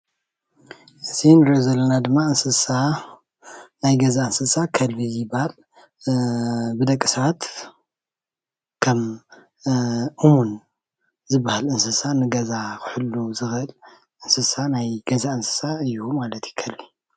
እዚ ንሪኦ ዘለና ድማ እንስሳ ናይ ገዛ እንስሳ ከልቢ እዩ ዝበሃል ብደቂ ሰባት ከም እሙን ዝበሃል እንስሳ ንገዛ ክሕሉ ዝኽእል እንስሳ ናይ ገዛ እንስሳ እዩ ማለት እዩ ከልቢ ።